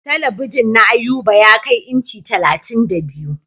Talabijin na Ayuba ya kai inci talatin da biyu.